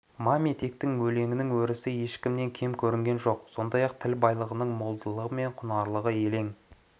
маметектің де өлеңінің өресі ешкімнен кем көрінген жоқ сондай-ақ тіл байлығының молдығы мен құнары елең